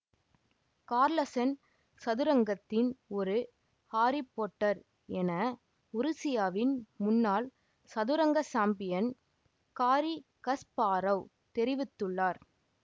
Carlsen சதுரங்கத்தின் ஒரு Harry Potter என உருசியாவின் முன்னாள் சதுரங்க சாம்பியன் காரி கஸ்பாரொவ் தெரிவித்துள்ளார்